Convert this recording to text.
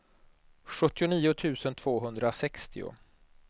sjuttionio tusen tvåhundrasextio